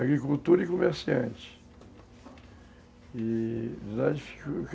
Agricultura e comerciante.